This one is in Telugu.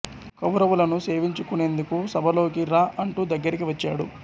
కౌరవులను సేవించు కునేందుకు సభలోకి రా అంటూ దగ్గరికి వచ్చాడు